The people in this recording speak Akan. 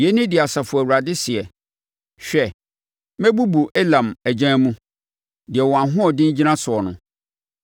Yei ne deɛ Asafo Awurade seɛ: “Hwɛ, mɛbubu Elam agyan mu, deɛ wɔn ahoɔden gyina soɔ no.